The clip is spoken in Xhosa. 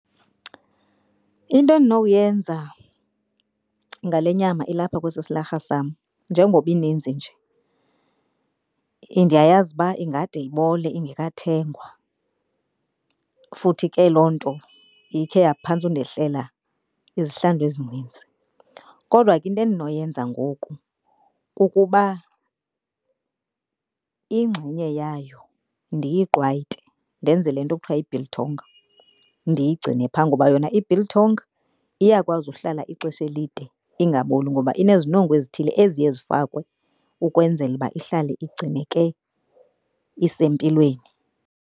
Into endinowuyenza ngale nyama ilapha kwesi silarha sam njengoba ininzi nje, ndiyayazi uba ingade ibole ingekathengwa futhi ke loo nto ikhe yaphantse undehlela izihlandlo ezinintsi. Kodwa ke into endinoyenza ngoku kukuba ingxenye yayo ndiyiqwayite, ndenze le nto kuthiwa yi-biltong ndiyigcine pha. Ngoba yona i-biltong iyakwazi uhlala ixesha elide ingaboli ngoba inezinongo ezithile eziye zifakwe ukwenzela uba ihlale igcineke isempilweni.